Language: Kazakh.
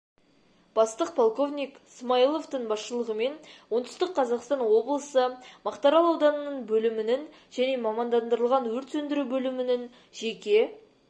бастық полковник смаиловтың басшылығымен оңтүстік қазақстан облысы мақтаарал ауданының бөлімінің және мамандандырылған өрт сөндіру бөлімінің жеке